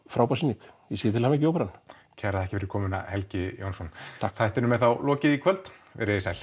frábær sýning ég segi til hamingu Óperan kærar þakkir fyrir komuna Helgi Jónsson þættinum er þá lokið í kvöld verið þið sæl